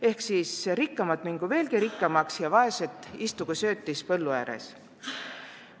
Et siis rikkamad mingu veelgi rikkamaks ja vaesed istugu söötis põllu ääres.